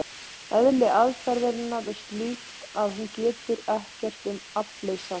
Eðli aðferðarinnar er slíkt að hún getur ekkert um aflið sagt.